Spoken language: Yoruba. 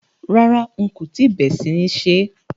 Rárá, n kò tíì bé sí ní sè é.